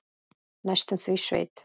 Næstum því sveit.